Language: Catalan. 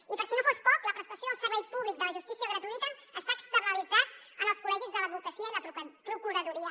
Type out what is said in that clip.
i per si no fos poc la prestació del servei públic de la justícia gratuïta està externalitzat en els col·legis de l’advocacia i la procuradoria